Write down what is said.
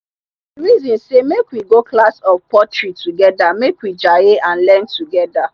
we reason sey make we go class of pottery togeda make we jaye and learn together.